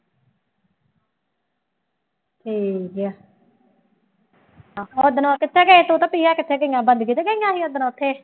ਠੀਕ ਹੈ ਮੈਂ ਕਿਹਾ ਓਦਣ ਕਿੱਥੇ ਗਏ ਤੂੰ ਤੇ ਪ੍ਰਿਆ ਕਿੱਥੇ ਗਈਆਂ ਬੰਦਗੀ ਤੇ ਗਈਆਂ ਸੀ ਓਦਣ ਉੱਥੇ।